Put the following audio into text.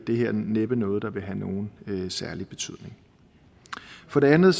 det her næppe noget der vil have nogen særlig betydning for det andet